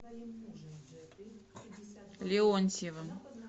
леонтьевым